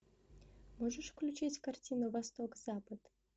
можешь включить картину восток запад